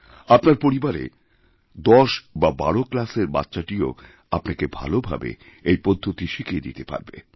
আপনার পরিবারে দশ বা বারো ক্লাসের বাচ্চাটিও আপনাকে ভালোভাবে এই পদ্ধতিশিখিয়ে দিতে পারবে